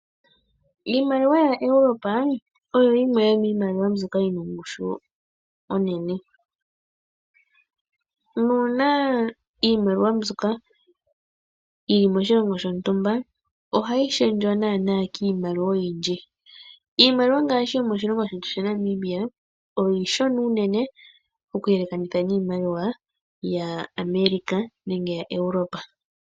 Iimaliwa yaEurope oyo yimwe yomimaliwa mbyoka yina ongushu onene nuuna iimaliwa mbyoka yili moshilongo shontumba ohayi shendjwa nana kiimaliwa oyindji. Iimaliwa ngashi yomoshilongo shetu sha Namibia iishona unene okuyele kanithwa niimaliwa yaAmerica nenge yaEurope.